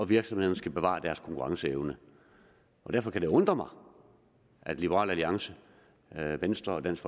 virksomhederne skal bevare deres konkurrenceevne derfor kan det undre mig at liberal alliance venstre og dansk